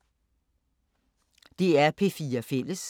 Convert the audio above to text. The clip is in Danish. DR P4 Fælles